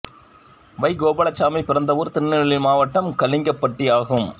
வை கோபால்சாமி பிறந்த ஊர் திருநெல்வேலி மாவட்டம் கலிங்கப்பட்டி ஆகும்